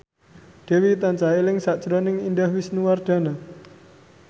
Dewi tansah eling sakjroning Indah Wisnuwardana